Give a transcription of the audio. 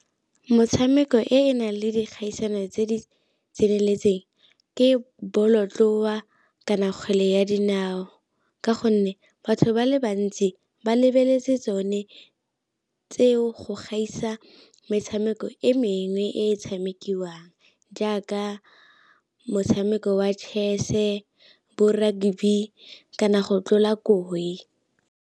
Motshameko e e nang le dikgaisano tse di tseneletseng ke bolotloa kana kgwele ya dinao, ka gonne batho ba le bantsi ba lebeletse tsone tseo go gaisa metshameko e mengwe e e tshamekiwang, jaaka motshameko wa chess-e, bo rugby kana go tlola koi.